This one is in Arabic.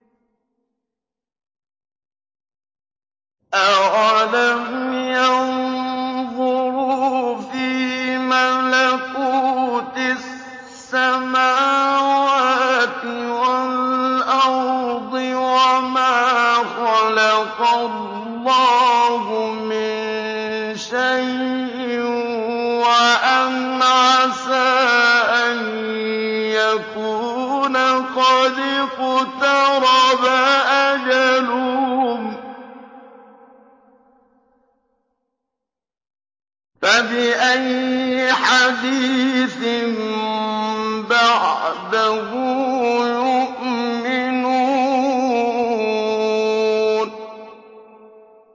أَوَلَمْ يَنظُرُوا فِي مَلَكُوتِ السَّمَاوَاتِ وَالْأَرْضِ وَمَا خَلَقَ اللَّهُ مِن شَيْءٍ وَأَنْ عَسَىٰ أَن يَكُونَ قَدِ اقْتَرَبَ أَجَلُهُمْ ۖ فَبِأَيِّ حَدِيثٍ بَعْدَهُ يُؤْمِنُونَ